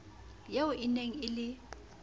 eo e neng e le